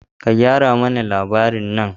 Ka gyara mana labarin nan!